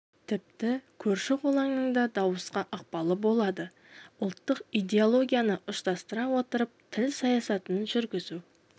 тіпті көрші-қолаңның да дауысқа ықпалы болады ұлттық идеологияны ұштастыра отырып тіл саясатын жүргізу